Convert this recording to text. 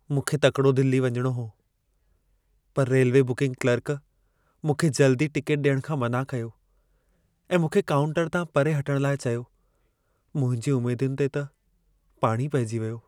मूंखे तकिड़ो दिल्ली वञणो हो। पर रेल्वे बुकिंग क्लर्क मूंखे जल्दी टिकेट ॾियणु खां मना कयो ऐं मूंखे काउंटर तां परे हटणु लाइ चयो। मुंहिंजी उमेदुनि ते पाणी पेइजी वियो।